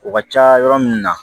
O ka ca yɔrɔ min na